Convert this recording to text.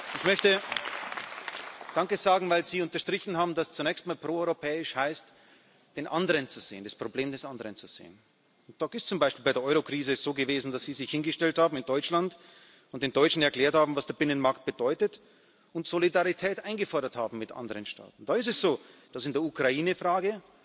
Ich möchte danke sagen, weil Sie unterstrichen haben, dass zunächst mal proeuropäisch heißt, den anderen zu sehen, das Problem des anderen zu sehen. Da ist es zum Beispiel bei der Eurokrise so gewesen, dass Sie sich in Deutschland hingestellt und den Deutschen erklärt haben, was der Binnenmarkt bedeutet, und Solidarität mit anderen Staaten eingefordert haben, da ist es so, dass in der Ukrainefrage,